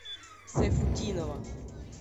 сайфутдинова